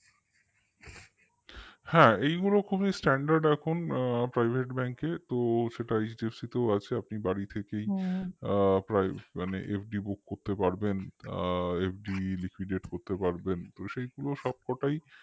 হ্যাঁ এইগুলো খুবই standard এখন private bank কে তো সেটা hdfc তেও আছে আপনি বাড়ি থেকেই মানে FDbook করতে পারবেন আ FDliquidate করতে পারবেন তো পুরো সবকটাই